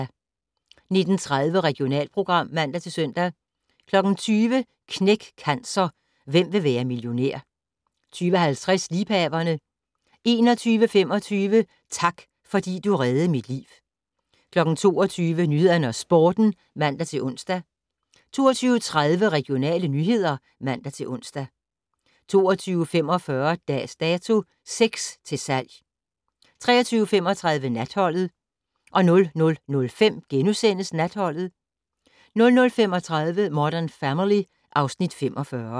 19:30: Regionalprogram (man-søn) 20:00: Knæk Cancer: Hvem vil være millionær? 20:50: Liebhaverne 21:25: Tak, fordi du reddede mit liv 22:00: Nyhederne og Sporten (man-ons) 22:30: Regionale nyheder (man-ons) 22:45: Dags Dato: Sex til salg 23:35: Natholdet 00:05: Natholdet * 00:35: Modern Family (Afs. 45)